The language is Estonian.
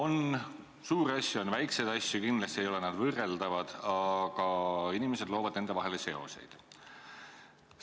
On suuri asju, on väikseid asju, kindlasti ei ole need võrreldavad, aga inimesed loovad nende vahele seoseid.